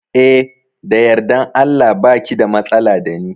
Eh da yardan Allah baki da matsala dani